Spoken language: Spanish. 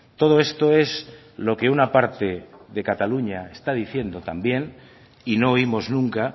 todo esto es lo que una parte de cataluña está diciendo también y no oímos nunca